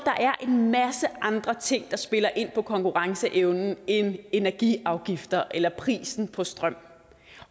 en masse andre ting der spiller ind på konkurrenceevnen end energiafgifter eller prisen på strøm